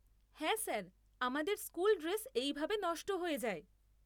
হ্যাঁ স্যার, আমাদের school dress এই ভাবে নষ্ট হয়ে যায়।